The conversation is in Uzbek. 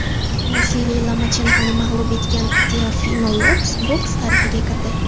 Vasiliy Lomachenkoni mag‘lub etgan Teofimo Lopes boks tarixiga kirdi.